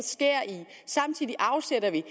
samtidig afsætter vi